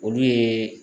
Olu ye